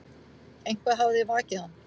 Eitthvað hafði vakið hann.